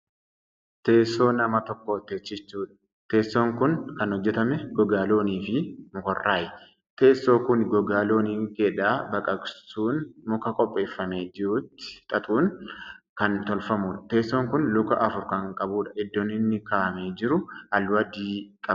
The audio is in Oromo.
Teessoo nama tokko teechistudha. teessoon Kuni Kan hojjatame gogaa loonii fi mukarraayi. teessoo Kuni gogaa loonii keedhaa baqaqasuun muka qopheeffamee jirutti xaxuudhan Kan tolfamuudha. teessoon Kuni Luka afur Kan qabuudha. iddoon inni kaa'amee jiru halluu adii qaba.